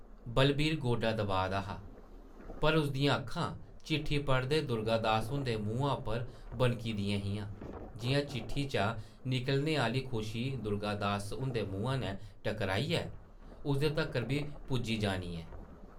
बलवीर गोडा दबाऽ दा हा पर उस दियां अक्खां, चिट्ठी पढ़दे दुर्गा दास हुंदे मुहां उप्पर बनकी दियां हियां, जिʼयां चिट्ठी चा निकलने आह्ली खुशी दुर्गा दास हुंदे मुहां नै टकराइयै उसदे तक्कर बी पुज्जी जानी ऐ ।